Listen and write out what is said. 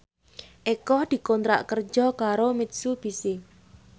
Eko dikontrak kerja karo Mitsubishi